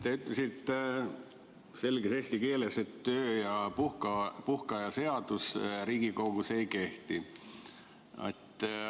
Te ütlesite selges eesti keeles, et töö- ja puhkeaja seadus Riigikogus ei kehti.